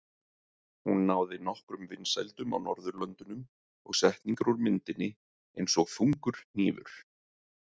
Hún náði nokkrum vinsældum á Norðurlöndunum og setningar úr myndinni, eins og Þungur hnífur?